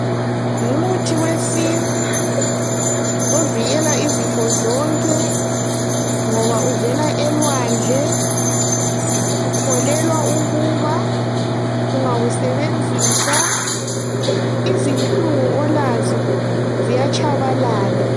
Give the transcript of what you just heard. ngumuthi wesintu ovikela izifo zonke ngoba uvela elwandle ukholelwa ukuba ungawusebenzisa izinhlungu olazo ziyatshabalala.